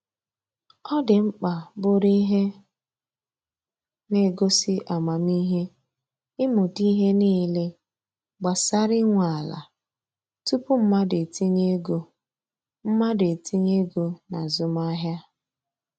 Ọ dị mkpa bụrụ ihe na-egosi amamihe ịmụta ihe niile gbasara inwe ala tupu mmadụ etinye ego mmadụ etinye ego na azụmahịa.